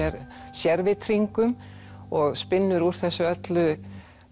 sérvitringum og spinnur úr þessu öllu